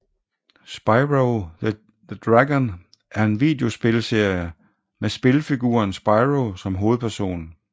Spyro the Dragon er en videospilserie med spilfiguren Spyro som hovedperson